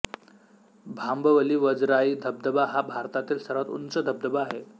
भांबवली वजराई धबधबा हा भारतातील सर्वात उंच धबधबा आहे